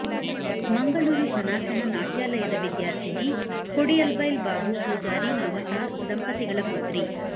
ಮಂಗಳೂರು ಸನಾತನ ನಾಟ್ಯಾಲಯದ ವಿದ್ಯಾರ್ಥಿನಿ ಕೊಡಿಯಲ್ಬೈಲ್ ಬಾಬು ಪೂಜಾರಿ ಮಮತ ದಂಪತಿಗಳ ಪುತ್ರಿ